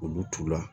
Olu t'u la